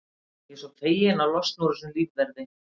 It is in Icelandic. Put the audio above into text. Ég er svo feginn að losna úr þessum lífverði.